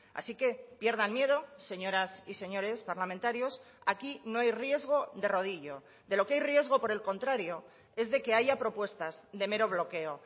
así que pierdan miedo señoras y señores parlamentarios aquí no hay riesgo de rodillo de lo que hay riesgo por el contrario es de que haya propuestas de mero bloqueo